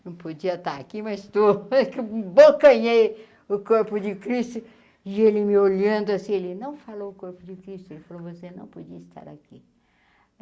Não podia estar aqui, mas estou abocanhei, o corpo de Cristo, e ele me olhando assim, ele não falou o corpo de Cristo, ele falou, você não podia estar aqui.